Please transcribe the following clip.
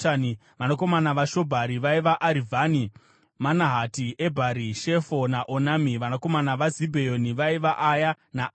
Vanakomana vaShobhari vaiva: Arivhani, Manahati, Ebhari, Shefo naOnami. Vanakomana vaZibheoni vaiva: Aya naAna.